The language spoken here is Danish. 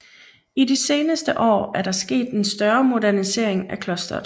I de seneste år er der sket en større modernisering af klosteret